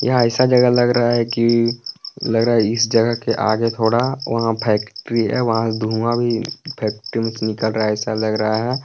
यहाँ ऐसा जगह लग रहा है कि लग रहा है इस जगह के आगे थोड़ा वहां फैक्ट्री है वहां धुआं भी फैक्ट्री में से निकल रहा है ऐसा लग रहा है।